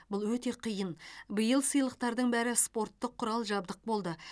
бұл өте қиын биыл сыйлықтардың бәрі спорттық құрал жабдық болды